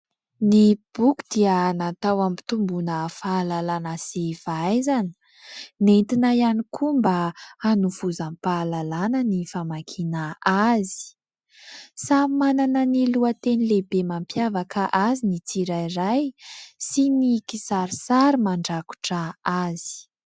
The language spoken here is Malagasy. Ny boky dia natao hampitombona fahalalàna sy fahaizana, nentina ihany koa mba hanovozam-pahalalàna ny famakiana azy. Samy manana ny lohateny lehibe mampiavaka azy ny tsirairay sy ny kisarisary mandrakotra azy.